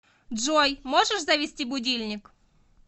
джой можешь завести будильник